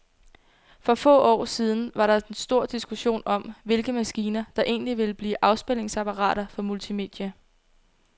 For få år siden var der stor diskussion om, hvilke maskiner, der egentlig ville blive afspilningsapparater for multimedia.